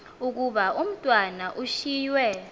ukuba umatwana ushiywe